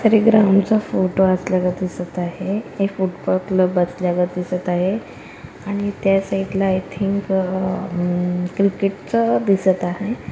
कुठल्यातरी ग्राउंड चा फोटो असल्याच दिसत आहे हे फुटपाथ लगत दिसत आहे आणि त्या साइड ला आय थिंक हं हम क्रिकेट चं दिसत आहे.